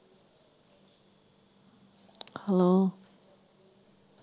ਹਾਂ।